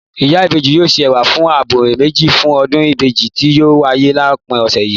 Ìyá ìbejì yóò se Ẹ̀wà abọ́ méjì fún ọdún ìbejì tí yóò wáyé lópin òsẹ̀ yìí